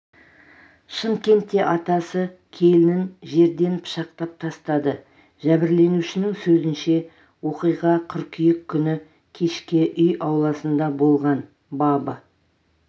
шымкентте атасы келінін жерден пышақтап тастады жәбірленушінің сөзінше оқиға қыркүйек күні кешке үй ауласында болған бабы